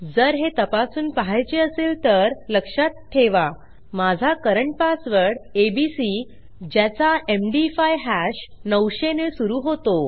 जर हे तपासून पहायचे असेल तर लक्षात ठेवा माझा करंट पासवर्ड एबीसी ज्याचा एमडी5 हॅश 900 ने सुरू होतो